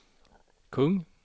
kung